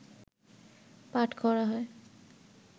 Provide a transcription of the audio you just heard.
পাঠ করা হয়